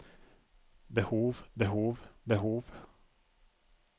behov behov behov